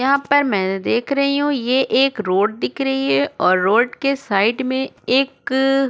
यहाँ पर मैंने देख रही हूँ ये एक रोड दिख रही है और रोड के साइड में एक --